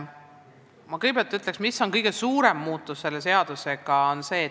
Ma kõigepealt ütlen, mis on kõige suurem muudatus, mida selle seadusega tehakse.